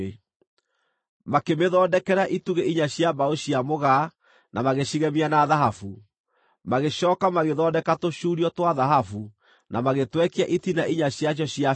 Makĩmĩthondekera itugĩ inya cia mbaũ cia mĩgaa na magĩcigemia na thahabu. Magĩcooka magĩthondeka tũcuurio twa thahabu, na magĩtwekia itina inya ciacio cia betha.